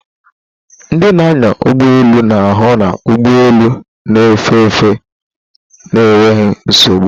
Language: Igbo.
Ndị na-anya ụgbọ elu na-ahụ na ụgbọ elu na-efe efe na enweghị nsogbu